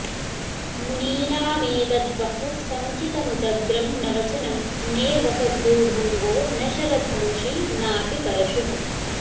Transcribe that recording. मुनीनामेतद्वः समुचितमुदग्रं न वचनं ने वक़भ्रूभङ्गो न शरधनुषि नाऽपि परशुः